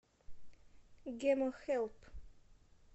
гемохелп